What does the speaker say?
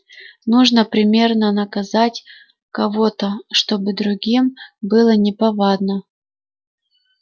нужно примерно наказать кого-то чтобы другим было неповадно